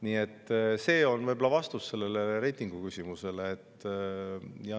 Nii et see on võib-olla vastus sellele reitinguküsimusele.